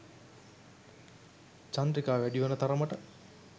චන්ද්‍රිකා වැඩි වන තරමට